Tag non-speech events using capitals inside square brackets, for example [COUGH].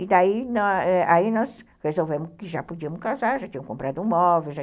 E daí nós [UNINTELLIGIBLE] resolvemos que já podíamos casar, já tínhamos comprado um móvel.